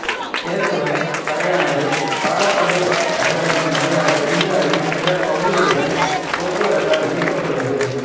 கேசவன் பறையானது பாலக்காடு நகரத்தின் வழியாக இந்தியாவின் பிற பகுதிகளுடன் போக்குவரத்தால் இணைக்கபட்டுள்ளது